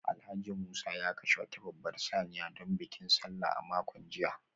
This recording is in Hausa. Alhaji Musa ya kashe wata babbar saniya domin bikin Sallah a makon jiya